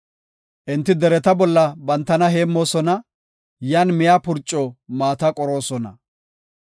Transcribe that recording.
Enti dereta bolla bantana heemmoosona; yan miya purco maata qoroosona.